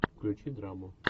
включи драму